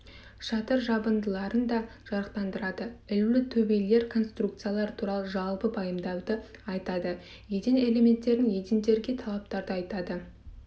шатыр жабындыларын да жарықтандырады ілулі төбелер конструкциялары туралы жалпы пайымдауды айтады еден элементтерін едендерге талаптарды атайды